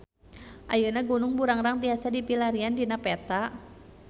Ayeuna Gunung Burangrang tiasa dipilarian dina peta